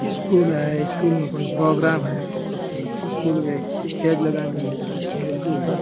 school है school में कोई प्रोग्राम है स्कूल में स्टेज लगान वाले है स्टेज के ऊपर --